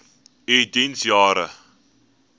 u diens jare